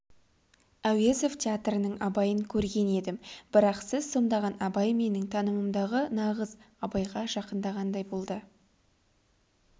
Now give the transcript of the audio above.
әуезов театрының абайын көрген едім бірақ сіз сомдаған абай менің танымымдағы нағыз абайға жақындағандай болды